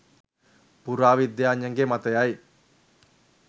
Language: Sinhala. පුරාවිද්‍යාඥයන්ගේ මතයයි.